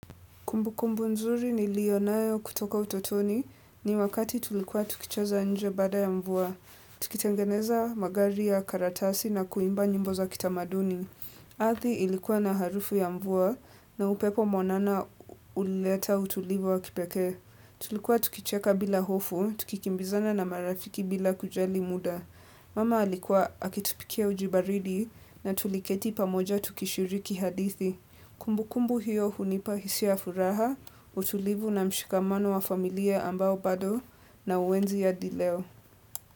Kumbukumbu nzuri niliyonayo kutoka utotoni ni wakati tulikuwa tukicheza nje baada ya mvua. Tukitengeneza magari ya karatasi na kuimba nyimbo za kitamaduni. Athi ilikuwa na harufu ya mvua na upepo mwanana ulileta utulivu wa kipeke. Tulikuwa tukicheka bila hofu, tukikimbizana na marafiki bila kujali muda. Mama alikuwa akitupikia uji baridi na tuliketi pamoja tukishiriki hadithi. Kumbukumbu hiyo hunipa hisia ya furaha, utulivu na mshikamano wa familia ambao bado na uenzi hadi leo.